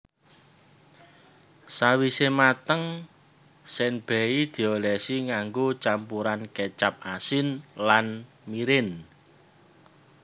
Sawise mateng senbei diolesi nganggo campuran kecap asin lan mirin